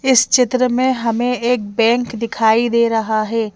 इस चित्र में हमें एक बैंक दिखाई दे रहा है।